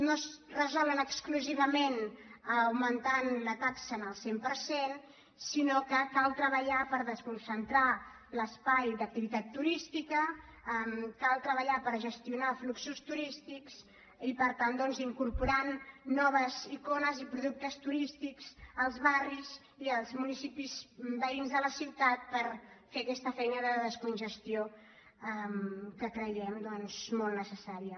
no es resol exclusivament augmentant la taxa al cent per cent sinó que cal treballar per desconcentrar l’espai d’activitat turística cal treballar per gestionar fluxos turístics i per tant incorporar noves icones i productes turístics als barris i als municipis veïns de la ciutat per fer aquesta feina de descongestió que creiem molt necessària